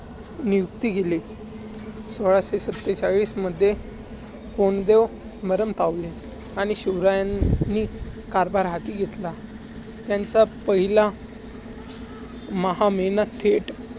नियुक्ती केली. सोळाशे सत्तेचाळीस मध्ये कोंडदेव मरण पावले आणि शिवरायांनी कारभार हाती घेतला. त्यांचा पहिला महा महिना थेट